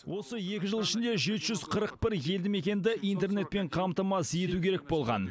осы екі жыл ішінде жеті жүз қырық бір елді мекенді интернетпен қамтамасыз ету керек болған